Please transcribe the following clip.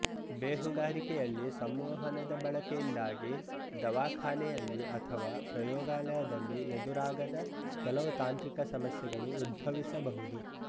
ಬೇಹುಗಾರಿಕೆಯಲ್ಲಿ ಸಂಮೋಹನದ ಬಳಕೆಯಿಂದಾಗಿ ದವಾಖಾನೆಯಲ್ಲಿ ಅಥವಾ ಪ್ರಯೋಗಾಲಯದಲ್ಲಿ ಎದುರಾಗದ ಕೆಲವು ತಾಂತ್ರಿಕ ಸಮಸ್ಯೆಗಳು ಉದ್ಭವಿಸಬಹುದು